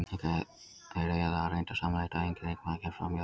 Þeir eiga það reyndar sameiginlegt að enginn leikmaður kemst framhjá þeim.